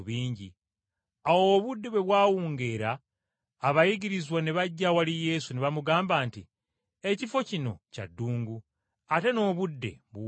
Awo obudde bwe bwawungeera abayigirizwa ne bajja awali Yesu ne bamugamba nti, “Ekifo kino kya ddungu ate n’obudde buwungedde.